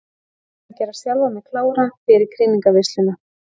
Ég þarf að gera sjálfa mig klára fyrir krýningarveisluna.